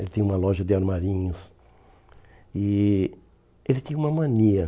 Ele tinha uma loja de armarinhos e ele tinha uma mania.